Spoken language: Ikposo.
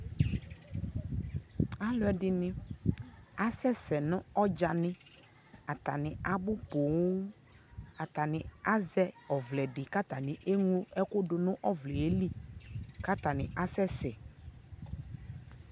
alʋɛdini asɛsɛ nʋ ɔdzanɛ, atani abʋ pɔɔm, atani azɛ ɔvlɛ di kʋ atani ɛmlɔ ɛkʋ dʋnʋ ɔvlɛli kʋ atani asɛsɛ